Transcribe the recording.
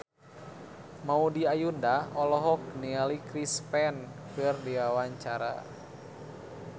Maudy Ayunda olohok ningali Chris Pane keur diwawancara